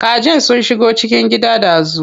Kajin sun shigo cikin gida dazu.